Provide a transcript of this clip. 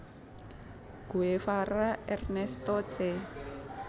Guevara Ernesto Che